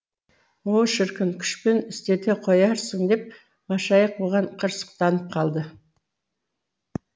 о шіркін күшпен істете қоярсың деп машайық бұған қырсықтанып қалды